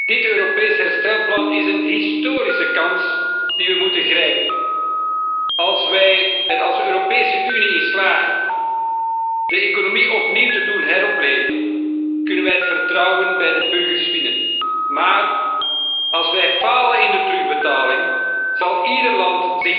Dit Europees herstelplan is een historische kans die we moeten grijpen. Als de Europese Unie erin slaagt de economie opnieuw te doen heropleven, kunnen wij het vertrouwen bij de burgers winnen. Maar als wij falen in de terugbetaling zal ieder land